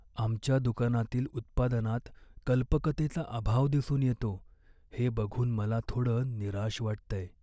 आमच्या दुकानातील उत्पादनात कल्पकतेचा अभाव दिसून येतो हे बघून मला थोडं निराश वाटतंय.